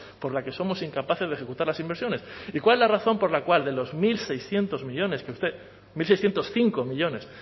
por la que somos incapaces de ejecutar las inversiones y cuál es la razón por la cual de los mil seiscientos millónes que usted mil seiscientos cinco millónes